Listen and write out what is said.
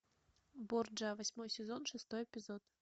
борджиа восьмой сезон шестой эпизод